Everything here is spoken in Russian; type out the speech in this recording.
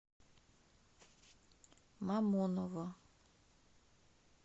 мамоново